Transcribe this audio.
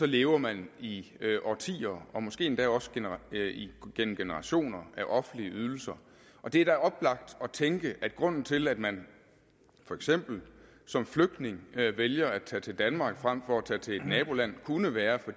lever man i årtier og måske endda også gennem generationer af offentlige ydelser det er da oplagt at tænke at grunden til at man for eksempel som flygtning vælger at tage til danmark frem for at tage til et naboland kunne være